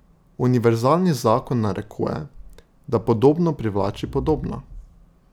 Univerzalni zakon narekuje, da podobno privlači podobno.